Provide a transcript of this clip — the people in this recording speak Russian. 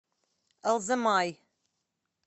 алзамай